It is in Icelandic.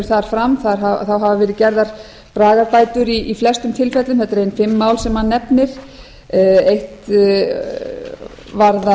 þar fram þá hafa verið gerðar bragarbætur í flestum tilfellum þetta eru ein fimm mál sem hann nefnir eitt varðar